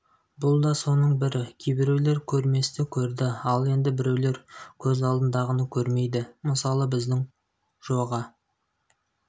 бұл да соның бірі кейбіреулер көрместі көрді ал енді біреулер көз алдындағыны көрмейді мысалы біздің джоға